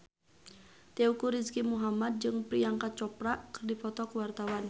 Teuku Rizky Muhammad jeung Priyanka Chopra keur dipoto ku wartawan